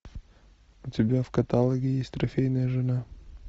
у тебя в каталоге есть трофейная жена